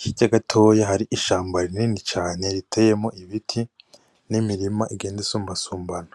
hirya gatoya hari ishamba rinini cane riteyemwo ibiti n' imirima igenda isumba sumbana.